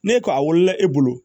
Ne ko a wolola e bolo